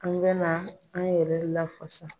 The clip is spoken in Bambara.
An bɛna an yɛrɛ lafasa.